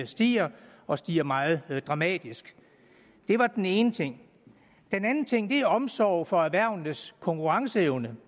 stiger og stiger meget dramatisk det var den ene ting den andet ting er omsorg for erhvervenes konkurrenceevne